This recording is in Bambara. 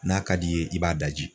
N'a ka d'i ye i b'a daji